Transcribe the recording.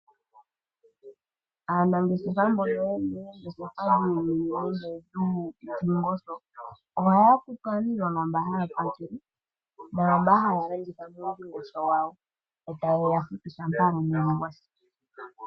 Aanangeshefa mbono ye na oongeshefa dhuundingosho ohaya kutu aaniilonga mbono haya pakele, naa mboka haya landitha muundingosho wawo yo taye ya futu shampa omwedhi gwa si.